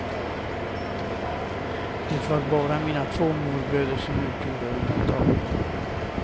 Det var bara mina två morbröder som utgjorde undantag.